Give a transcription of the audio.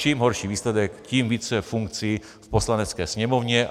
Čím horší výsledek, tím více funkcí v Poslanecké sněmovně.